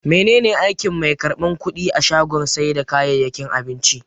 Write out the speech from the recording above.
Mene ne aikin mai karban kudi a shagon sai da kayayyakin abinci?